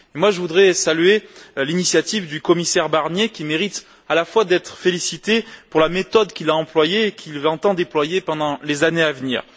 Et moi, je voudrais saluer l'initiative du commissaire Barnier qui mérite d'être félicité pour la méthode qu'il a employée et qu'il entend déployer pendant les années à venir.